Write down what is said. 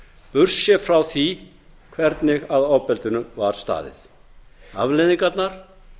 burtséð frá því hvernig að ofbeldinu var staðið afleiðingarnar